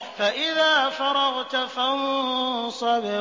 فَإِذَا فَرَغْتَ فَانصَبْ